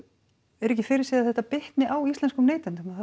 er ekki fyrir séð að þetta bitni á íslenskum neytendum að það